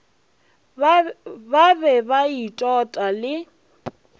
ba be ba itota le